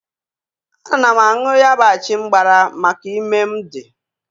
Ana m añụ ya bụ achịmgbara maka ime mụ dị.